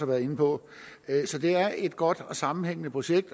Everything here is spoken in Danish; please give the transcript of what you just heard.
været inde på så det er et godt og sammenhængende projekt